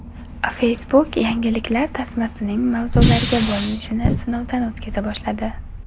Facebook yangiliklar tasmasining mavzularga bo‘linishini sinovdan o‘tkaza boshladi.